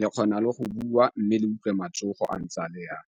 le kgona le go bua, mme le utlwe matsogo akaretsa le yang.